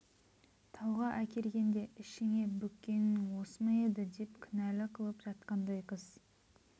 тауға әкелгенде ішіңе бүккенің осы ма еді деп кінәлі қылып жатқандай қыз